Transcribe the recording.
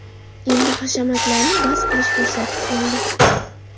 Endi hashamatlarni bas qilish fursati keldi!